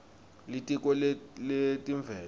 litiko letemvelo